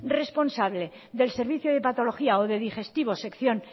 responsable del servicio de patología o de digestivos sección